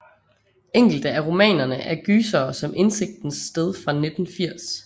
Enkelte af romanerne er gysere som Indsigtens Sted fra 1980